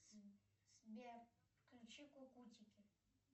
сбер включи кукутики